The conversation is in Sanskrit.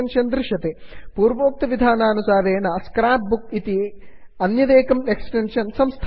पश्यन्तु दक्षिणफलके एक्सटेन्शन्स् tab एक्स्टेन्षन् ट्याब् मध्ये grab and drag grab and drag इति एक्स्टेन्षन् दृश्यते